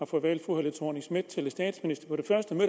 får valgt fru helle thorning schmidt til statsminister